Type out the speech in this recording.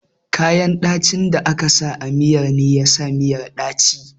Ganyen ɗacin da aka sa a miyan ne yasa miyar ɗaci